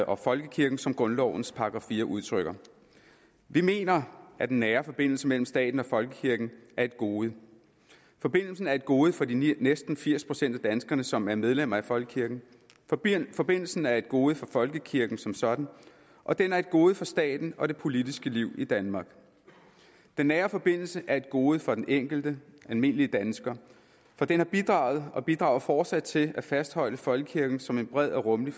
og folkekirken som grundlovens § fire udtrykker vi mener at den nære forbindelse mellem staten og folkekirken er et gode forbindelsen er et gode for de næsten firs procent af danskerne som er medlemmer af folkekirken forbindelsen forbindelsen er et gode for folkekirken som sådan og den er et gode for staten og det politiske liv i danmark den nære forbindelse er et gode for den enkelte almindelige dansker for den har bidraget og bidrager fortsat til at fastholde folkekirken som en bred og rummelig